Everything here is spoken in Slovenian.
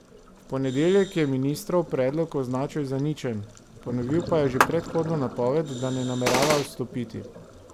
V ponedeljek je ministrov predlog označil za ničen, ponovil pa je že predhodno napoved da ne namerava odstopiti.